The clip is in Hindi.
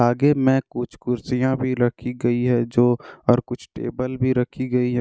आगे में कुछ कुर्सियाँ भी रखी गई हैं जो और कुछ टेबल भी रखी गई है।